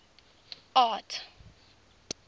art